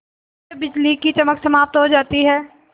जब बिजली की चमक समाप्त हो जाती है